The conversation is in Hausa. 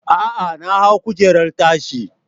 A'a, na hau kujerar tashi.